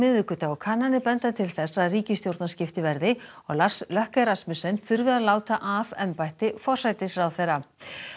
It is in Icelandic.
miðvikudag og kannanir benda til þess að ríkisstjórnarskipti verði og Lars Løkke Rasmussen þurfi að láta af embætti forsætisráðherra